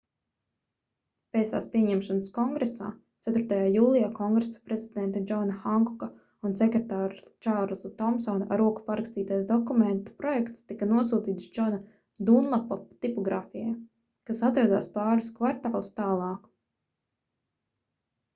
pēc tās pieņemšanas kongresā 4. jūlijā kongresa prezidenta džona hankoka un sekretāra čārlza tomsona ar roku parakstītais dokumenta projekts tika nosūtīts džona dunlapa tipogrāfijai kas atradās pāris kvartālus tālāk